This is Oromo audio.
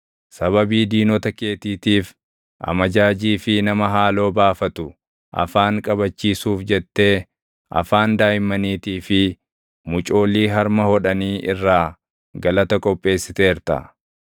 Sababii diinota keetiitiif, amajaajii fi nama haaloo baafatu afaan qabachiisuuf jettee, afaan daaʼimmaniitii fi mucoolii harma hodhanii irraa galata qopheessiteerta.